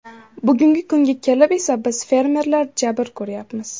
Bugungi kunga kelib esa biz fermerlar jabr ko‘ryapmiz.